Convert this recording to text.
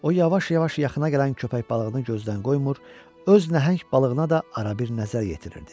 O yavaş-yavaş yaxına gələn köpək balığını gözdən qoymur, öz nəhəng balığına da arabir nəzər yetirirdi.